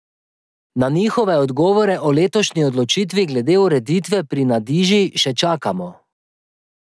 Na njihove odgovore o letošnji odločitvi glede ureditve pri Nadiži še čakamo.